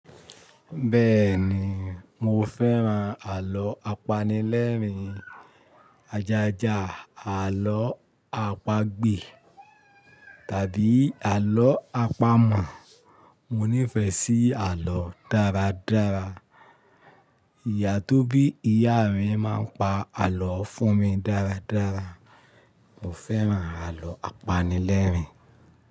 Bẹ́ẹ̀ ni, mo fẹ́ran àlọ́ apanilẹ́rìn-in, ajaja, àlọ́ àpagbè tàbí àlọ́ àpamọ̀. Mo nífẹ̀ẹ́ sí àlọ́ dáradára. Ìyà tó bí ìyá mi máa ń pa àlọ́ fún mi dáradára. Mo fẹ́ran àlọ́ apanilẹ́rìn-in.